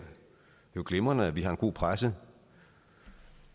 jo glimrende at vi har en god presse